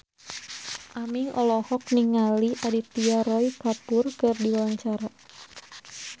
Aming olohok ningali Aditya Roy Kapoor keur diwawancara